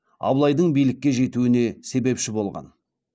абылайдың билікке жетуіне себепші болған